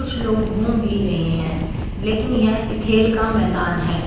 कुछ लोग घूम भी रहे हैं लेकिन यह खेल का मैदान है।